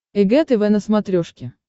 эг тв на смотрешке